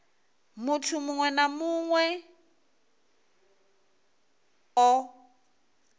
muthu muṅwe na muṅwe o